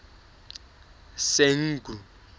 senqu